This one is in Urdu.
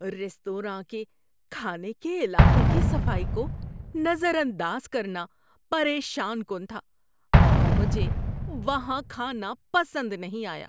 ریستوراں کے کھانے کے علاقے کی صفائی کو نظر انداز کرنا پریشان کن تھا اور مجھے وہاں کھانا پسند نہیں آیا۔